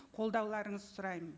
қолдауларыңызды сұраймын